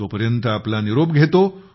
तो पर्यंत आपला निरोप घेतो